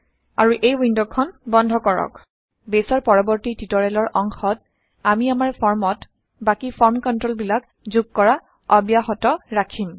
আৰু এই ৱিণ্ড খন বন্ধ কৰক বেইছৰ পৰৱৰ্তী টিউটৰিয়েলৰ অংশত আমি আমাৰ ফৰ্মত বাকী ফৰ্ম কন্ট্ৰলবিলাক যোগ কৰা অব্যাহত ৰাখিম